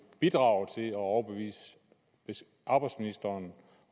bidrage til at overbevise arbejdsministeren